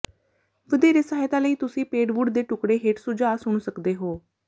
ਵਧੇਰੇ ਸਹਾਇਤਾ ਲਈ ਤੁਸੀਂ ਪੇਡਵੁੱਡ ਦੇ ਟੁਕੜੇ ਹੇਠ ਸੁਝਾਅ ਸੁਣ ਸਕਦੇ ਹੋ